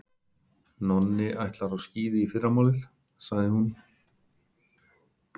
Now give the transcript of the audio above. Nonni ætlar á skíði í fyrramálið, sagði hún.